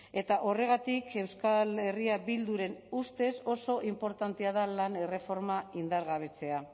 eta horregatik euskal herria bilduren ustez oso inportantea da lan erreforma indargabetzea